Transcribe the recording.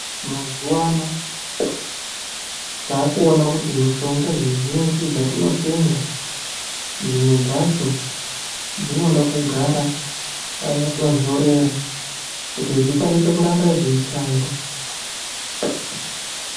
Mazuwano taakuona kuti mushonga dzizhinji dzatinotenga, dzimwe dzacho dzinoda kugara panotontorera kuti dzikwanise kuramba dzeishanda.